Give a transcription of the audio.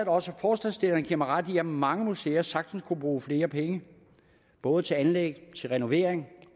også forslagsstillerne giver mig ret i at mange museer sagtens kunne bruge flere penge både til anlæg renovering